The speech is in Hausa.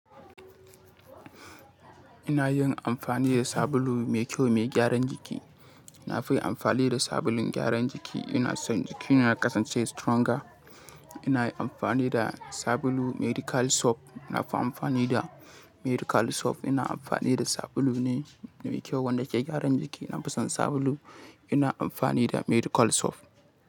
Ina yin amfani da sabulu mai kyau mai gyaran jiki. Nafi amfani da sabulun gyaran jiki. Ina son jiki na kasance stronger. Ina amfani da sabulu medical soap. Na fi amfani da medical soap. Ina amfani da sabulu ne mai kyau wanda ke gyaran jiki. Na fi son sabulu. Ina amfani da medical soap.